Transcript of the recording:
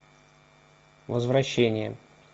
возвращение